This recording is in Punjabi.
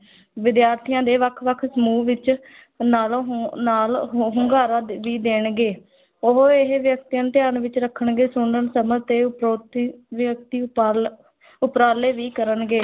ਵਿਦਿਆਰਥੀਆਂ ਦੇ ਵੱਖ ਵੱਖ ਸਮੂਹ ਵਿੱਚ ਨਾਲੋ ਹੁੰ ਨਾਲ ਹੁੰ ਹੁੰਗਾਰਾ ਦੇਣਗੇ ਉਹ ਇਹ ਵਿਅਕਤੀਆਂ ਨੂੰ ਧਿਆਨ ਵਿੱਚ ਰੱਖਣਗੇ, ਸੁਣਨ, ਸਮਝ ਤੇ ਉਪਰਾਲੇ ਵੀ ਕਰਨਗੇ।